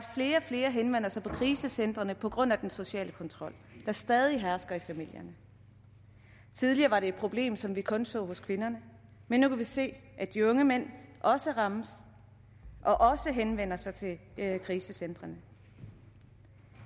flere og flere henvender sig på krisecentrene på grund af den sociale kontrol der stadig hersker i familierne tidligere var det et problem som vi kun så hos kvinderne men nu kan vi se at de unge mænd også rammes og også henvender sig til krisecentrene